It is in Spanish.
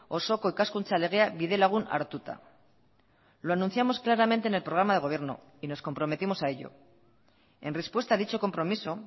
osoko ikaskuntza legea bidelagun hartuta lo anunciamos claramente en el programa de gobierno y nos comprometimos a ello en respuesta a dicho compromiso